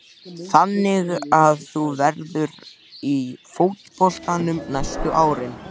Þannig að þú verður í fótboltanum næstu árin?